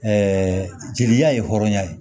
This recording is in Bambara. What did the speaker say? jeliya ye hɔrɔnya ye